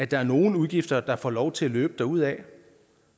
der er nogle udgifter der får lov til at løbe derudad